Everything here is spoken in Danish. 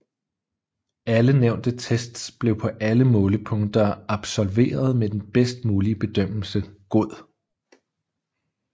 Alle nævnte tests blev på alle målepunkter absolveret med den bedst mulige bedømmelse god